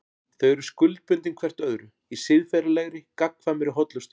Þau eru skuldbundin hvert öðru í siðferðilegri, gagnkvæmri hollustu.